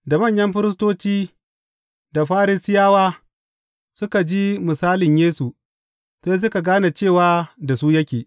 Da manyan firistoci da Farisiyawa suka ji misalan Yesu, sai suka gane cewa da su yake.